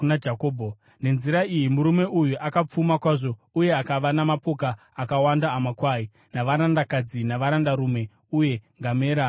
Nenzira iyi murume uyu akapfuma kwazvo uye akava namapoka akawanda amakwai, navarandakadzi navarandarume, uye ngamera nembongoro.